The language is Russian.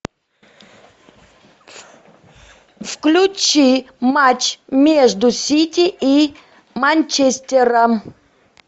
включи матч между сити и манчестером